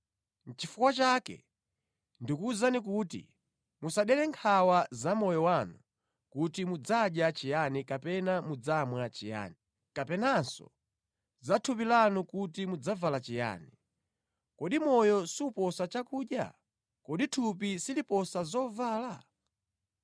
“Nʼchifukwa chake ndikuwuzani kuti musadere nkhawa za moyo wanu kuti mudzadya chiyani kapena mudzamwa chiyani; kapenanso za thupi lanu kuti mudzavala chiyani. Kodi moyo suposa chakudya? Kodi thupi siliposa zovala?